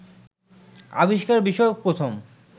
আবিষ্কার বিষয়ক প্রথম